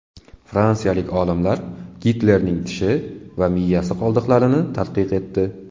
Fransiyalik olimlar Gitlerning tishi va miyasi qoldiqlarini tadqiq etdi.